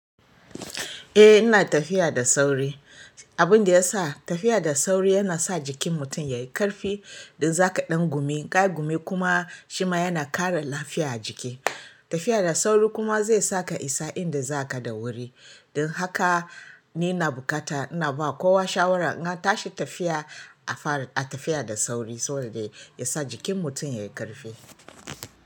Eh ina tafiya da sauri, abunda yasa tafiya da sauri yana sa jikin mutum yayi ƙarfi. In zaka ɗan gumi, in ka yi gumi kuma shima yana ƙara lafiya a jiki. Tafiya da sauri kuma zai sa ka isa inda zaka da wuri. Don haka ni ina buƙata ina ba kowa shawara in an tashi tafiya a tafiya da sauri saboda ya sa jikin mutum yayi ƙarfi.